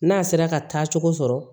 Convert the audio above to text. N'a sera ka taa cogo sɔrɔ